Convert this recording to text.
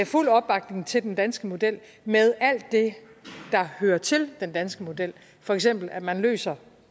fulde opbakning til den danske model med alt det der hører til den danske model for eksempel at man løser